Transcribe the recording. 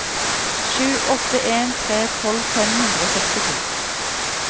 sju åtte en tre tolv fem hundre og sekstito